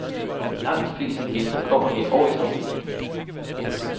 Langt de fleste gæster kommer her år efter år.